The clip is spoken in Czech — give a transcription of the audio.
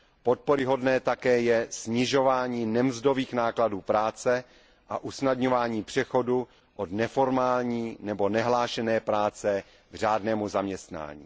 Podporyhodné je také snižování nemzdových nákladů práce a usnadňování přechodu od neformální nebo nehlášené práce k řádnému zaměstnání.